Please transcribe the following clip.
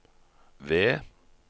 ved